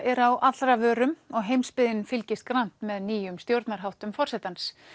eru á allra vörum og heimsbyggðin fylgist grannt með nýjum stjórnarháttum forsetans